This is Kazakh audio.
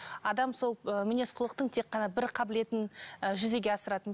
адам сол ы мінез құлықтың тек қана бір қабілетін ы жүзеге асырады